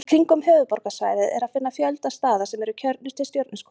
Í kringum höfuðborgarsvæðið er að finna fjölda staða sem eru kjörnir til stjörnuskoðunar.